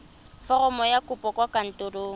foromo ya kopo kwa kantorong